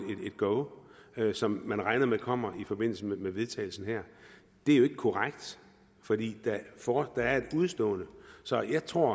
go som man regner med kommer i forbindelse med vedtagelsen her det er jo ikke korrekt for der er et udestående så jeg tror